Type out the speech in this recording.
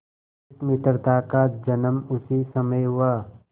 इस मित्रता का जन्म उसी समय हुआ